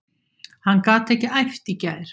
Hann gat ekki æft í gær.